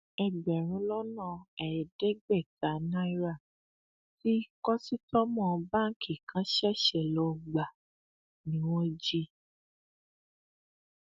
ẹgbẹrún lọnà ẹẹdẹgbẹta náírà tí kọsítọmọ báǹkì kan ṣẹṣẹ lọọ gbà ni wọn jí